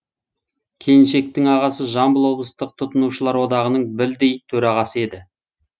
келіншектің ағасы жамбыл облыстық тұтынушылар одағының білдей төрағасы еді